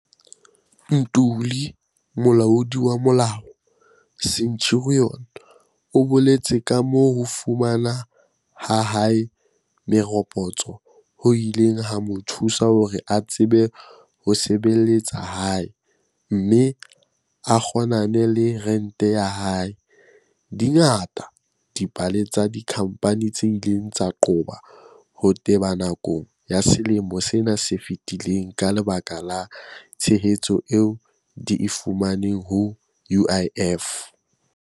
Ntuli, molaodi wa molao, Centurion, o boletse kamoo ho fumana ha hae meropotso ho ileng ha mo thusa hore a tsebe ho sebe-letsa hae mme a kgonane le rente ya hae. Di ngata dipale tsa dikhampani tse ileng tsa qoba ho teba nakong ya selemo sena se fetileng ka lebaka la tshehetso eo di e fumaneng ho UIF.